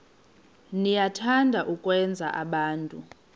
niyathanda ukwenza abantu